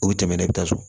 U bɛ tɛmɛ ne bɛ taa so